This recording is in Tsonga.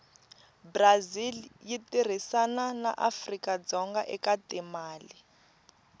brazil yitirhisana naafrikadzonga ekatimale